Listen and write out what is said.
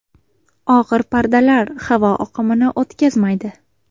Og‘ir pardalar havo oqimini o‘tkazmaydi.